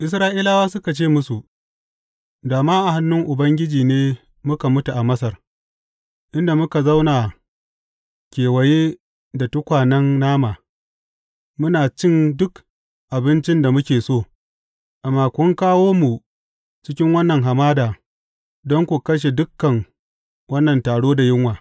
Isra’ilawa suka ce musu, Da ma a hannun Ubangiji ne muka mutu a Masar, inda muka zauna kewaye da tukwanen nama, muna cin duk abincin da muke so, amma kun kawo mu cikin wannan hamada don ku kashe dukan wannan taro da yunwa.